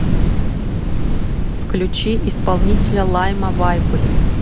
включи исполнителя лайма вайкуле